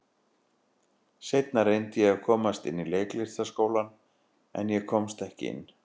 Seinna reyndi ég að komast inn í Leiklistarskólann, en ég komst ekki inn.